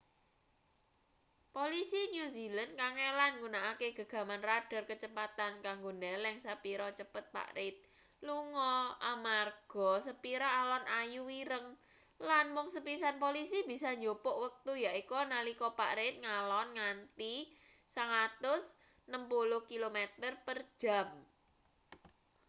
polisi new zealand kangelan nggunakake gegaman radar kecepatane kanggo ndeleng sepira cepet pak reid lunga amarga sepira alon ayu ireng lan mung sepisan polisi bisa njupuk wektu yaiku nalika pak reid ngalon nganti 160km / jam